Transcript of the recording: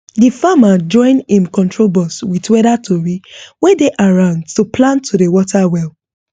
the farmer join im control box with weather tori wey dey around to plan to dey water well